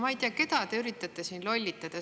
Ma ei tea, keda te üritate siin lollitada.